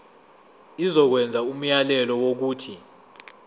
izokwenza umyalelo wokuthi